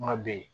Kuma bɛ yen